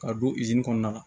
Ka don kɔnɔna la